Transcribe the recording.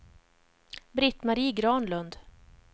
Britt-Marie Granlund